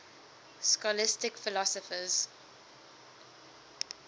scholastic philosophers